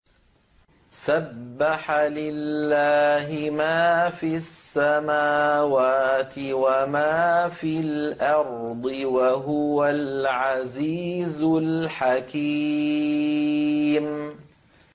سَبَّحَ لِلَّهِ مَا فِي السَّمَاوَاتِ وَمَا فِي الْأَرْضِ ۖ وَهُوَ الْعَزِيزُ الْحَكِيمُ